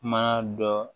Ma dɔ